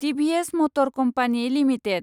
TVS motor company limited